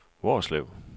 Hvorslev